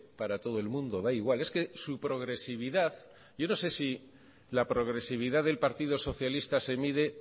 para todo el mundo da igual es que su progresividad yo no sé si la progresividad del partido socialista se mide